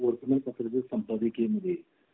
एका वर्तमानपत्राच्या संपादकीय मध्ये